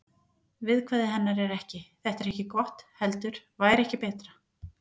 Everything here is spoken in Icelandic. Viðkvæði hennar er ekki: Þetta er gott heldur: Væri ekki betra.